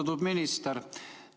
Austatud minister!